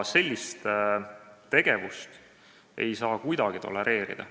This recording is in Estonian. Sellist tegevust ei saa kuidagi tolereerida.